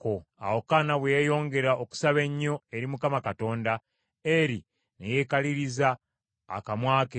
Awo Kaana bwe yeeyongera okusaba ennyo eri Mukama Katonda, Eri ne yeekaliriza akamwa ke.